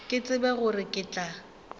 ke tsebe gore ke tla